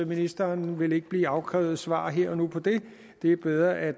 ministeren vil ikke blive afkrævet svar her og nu på det det er bedre at